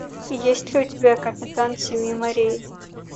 есть ли у тебя капитан семи морей